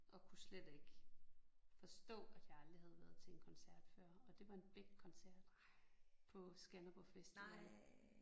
Og kunne slet ikke forstå at jeg aldrig havde været til en koncert før og det var en Beck koncert på Skanderborg Festival